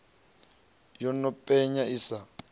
yo no penya i sa